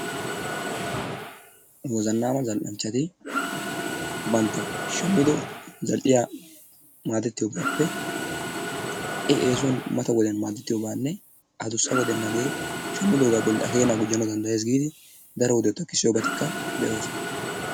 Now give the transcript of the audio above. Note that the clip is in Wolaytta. Wozannaama zal"anchchati bantta shammido zal"iya maadettiyogaappe ha"i eesuwan mata wodiyan maadettiyobaanne adussa wodiyan hagee shammidoogaa bollan A keenaa gujjanawu danddayees giidi daro wodiya takkissoosona.